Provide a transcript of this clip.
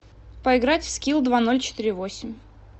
поиграть в скил два ноль четыре восемь